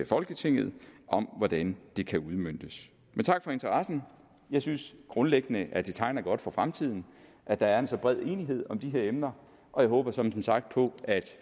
folketinget om hvordan det kan udmøntes men tak for interessen jeg synes grundlæggende at det tegner godt for fremtiden at der er en så bred enighed om de her emner og jeg håber som sagt at